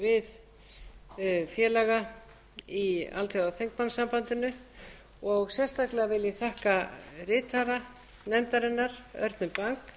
við félaga í alþjóðaþingmannasambandinu og sérstaklega vil ég þakka ritara nefndarinnar örnu